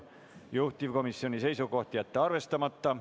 Juhtivkomisjoni seisukoht on jätta see arvestamata.